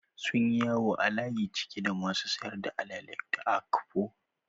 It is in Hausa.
Sunyi yawo a layi cike da masu sayar da alele da okpa